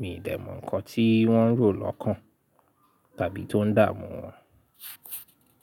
Mi dẹ̀ mọ̀ nǹkan tí wọ́n ń rò lọ́kàn tàbí tó ń dààmú wọn.